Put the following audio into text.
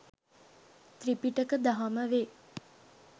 ත්‍රිපිටක දහම වේ.